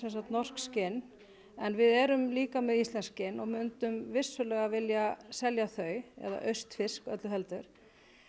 norsk skinn en við erum líka með íslensk skinn og myndum vissulega vilja selja þau eða austfirsk öllu heldur